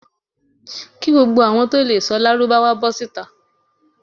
Ki gbogbo awọn to lee sọ lárúbáwá bó̩ sita